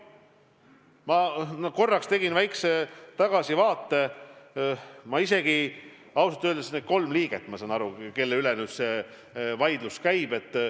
Ma korraks tegin väikese tagasivaate ja ausalt öeldes nüüd saan aru, kelle üle nendest kolmest inimesest nüüd see vaidlus käib.